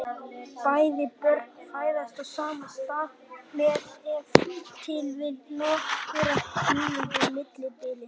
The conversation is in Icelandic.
Bæði börnin fæðast á sama stað með ef til vill nokkurra mínútna millibili.